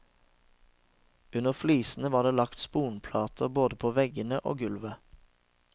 Under flisene var det lagt sponplater både på veggene og gulvet.